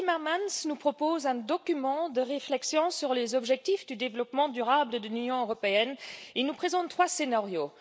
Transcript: Timmermans nous propose un document de réflexion sur les objectifs du développement durable de l'Union européenne, dans lequel il nous présente trois scénarios.